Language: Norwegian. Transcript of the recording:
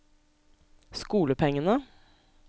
skolepengene